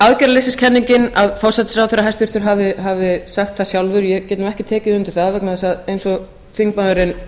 aðgerðarleysiskenningin að forsætisráðherra hæstvirtur hafi sagt það sjálfur ég get nú ekki tekið undir það vegna þess eins og þingmaðurinn